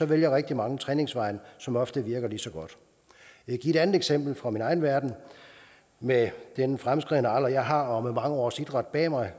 vælger rigtig mange træningsvejen som ofte virker lige så godt jeg kan eksempel fra min egen verden med den fremskredne alder jeg har og med mange års idræt bag mig